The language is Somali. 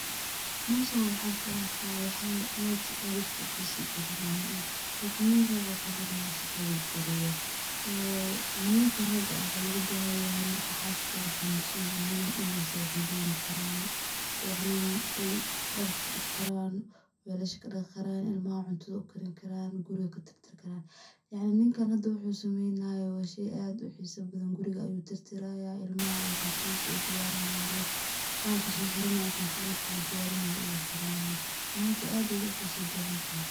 Meshan waxan kuarkayaa waxyaba ad u xisa badan kuxisagalinayan like nin rag ah qawanayo shaqada guriga , so nimanka raga waxaa logabahanyahay marka xaskoda xanunsanyihin in ay saciden karan yacnin ay darka daqi karan, welasha kadaqi karan, ilmaha cuntada ukarin karaan, guriga katirtiri karan, yacni ninkan hada wuxu sameynayo wa shey ad uxiso badan, guriga ayuu tirtiraya , ilmaha ayuu cuntadisa udiyarinayan like waxi laxiranaye marki cuntadha ladiyarinayo uu xiranayaa, run ahanti ad ayaay uxisa badantahay.